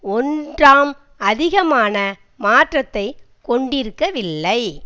ஒன்றாம் அதிகமான மாற்றத்தை கொண்டிருக்கவில்லை